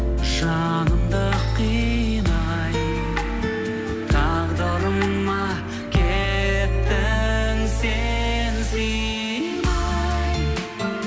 жанымды қинай тағдырыма кеттің сен сыймай